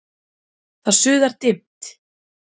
Það suðar dimmt